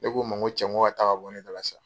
Ne k'u ma n go cɛ n k'u ka taa ka bɔ ne dala sa .